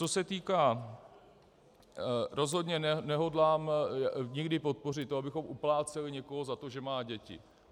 Co se týká - rozhodně nehodlám nikdy podpořit to, abychom upláceli někoho za to, že má děti.